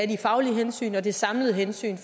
de faglige hensyn og det samlede hensyn